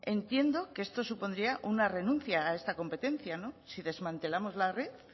entiendo que esto supondría una renuncia a esta competencia si desmantelamos la red